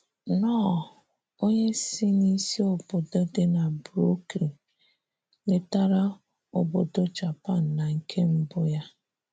Knorr, onye si n’isi obodo dị na Brooklyn, letara obodo Japan na nke mbụ ya.